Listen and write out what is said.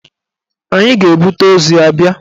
Anyị ga-ebute ozu ya bịa.